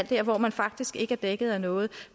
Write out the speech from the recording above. der hvor man faktisk ikke er dækket af noget